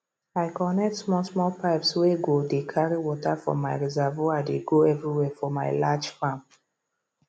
i connect small small pipeswey go dey carry water from my reservoir dey go every where for my large farm